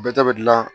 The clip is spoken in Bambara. Bɛɛ ta bɛ dilan